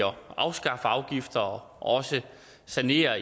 afskaffe afgifter og også sanere